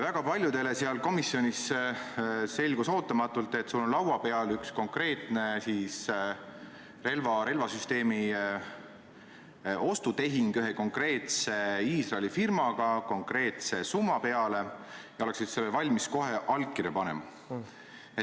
Väga paljudele ootamatult selgus seal komisjonis, et sul on laua peal üks konkreetne relvasüsteemi ostu tehing ühe konkreetse Iisraeli firmaga konkreetse summa peale ja sa oleksid valmis kohe allkirja panema.